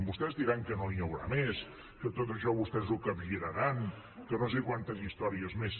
vostès diran que no n’hi haurà més que tot això vostès ho capgiraran que no sé quantes històries més